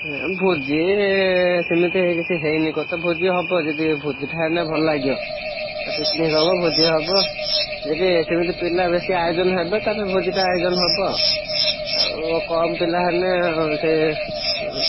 ଏଁ ଭୋଜି ଏଁ ସେମିତିଆ କିଛି ହେଇନି କଥା ଭୋଜି ହବ ଯଦି ଭୋଜିଥାନ୍ତ ଭଲ ଲାଗିବ, ଏ picnic ହବ ଭୋଜି ହବ, ଯଦି ସେମିତି ପିଲା ବେଶୀ ଆୟୋଜନ ହେବେ ତାହେଲେ ଭୋଜିଟା ଆୟୋଜନ ହବ ଆଉ। ଆଉ କମ୍ ପିଲା ହେଲେ ସେ ଏ।